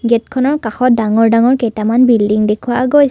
গেটখনৰ কাষত ডাঙৰ ডাঙৰ কেইটামান বিল্ডিং দেখুওৱা গৈছে।